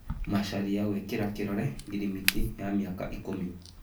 Macharia gwĩkĩra kĩrore ngirimiti ya mĩaka ikũmi